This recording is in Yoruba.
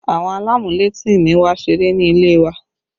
Àwọn alamuleti mi wá ṣeré ní ilé wa